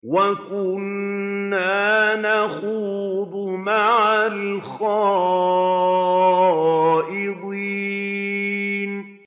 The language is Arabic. وَكُنَّا نَخُوضُ مَعَ الْخَائِضِينَ